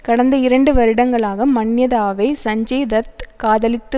கடந்த இரண்டு வருடங்களாக மன்யதாவை சஞ்சய் தத் காதலித்து